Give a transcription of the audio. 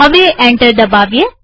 હવે એન્ટર દબાવીએ